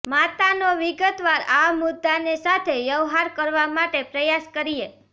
માતાનો વિગતવાર આ મુદ્દાને સાથે વ્યવહાર કરવા માટે પ્રયાસ કરીએ